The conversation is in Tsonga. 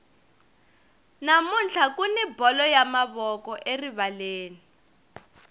namuntlha kuni bolo ya mavoko erivaleni